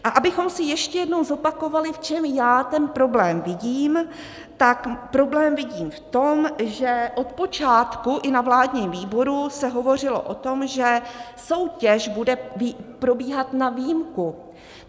A abychom si ještě jednou zopakovali, v čem já ten problém vidím, tak problém vidím v tom, že od počátku i na vládním výboru se hovořilo o tom, že soutěž bude probíhat na výjimku;